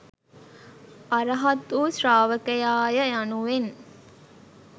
අරහත් වූ ශ්‍රාවකයා ය යනුවෙන්